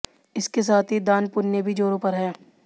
इसके साथ ही दान पुण्य भी जोरों पर है